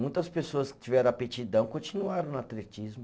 Muitas pessoas que tiveram aptidão continuaram no atletismo.